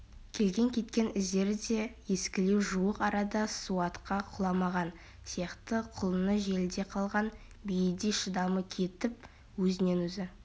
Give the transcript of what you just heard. келген-кеткен іздері де ескілеу жуық арада суатқа құламаған сияқты құлыны желіде қалған биедей шыдамы кетіп өзінен-өзі